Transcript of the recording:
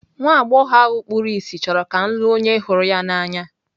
Nwa agbọghọ ahụ kpuru ìsì chọrọ ka m lụọ onye hụrụ ya n'anya.